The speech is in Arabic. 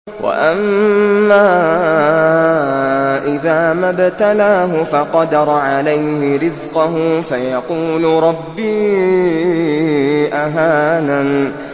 وَأَمَّا إِذَا مَا ابْتَلَاهُ فَقَدَرَ عَلَيْهِ رِزْقَهُ فَيَقُولُ رَبِّي أَهَانَنِ